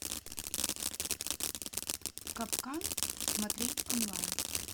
капкан смотреть онлайн